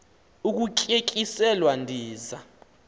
ukutye tyiselwa ndiza